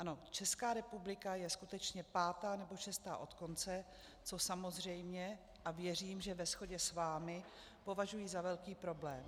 Ano, Česká republika je skutečně pátá nebo šestá od konce, což samozřejmě, a věřím, že ve shodě s vámi, považuji za velký problém.